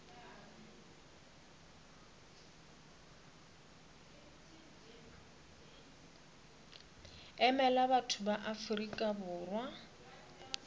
emela batho ba afrika borwa